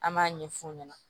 An b'a ɲɛ f'u ɲɛna